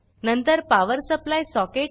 नंतर power supply socket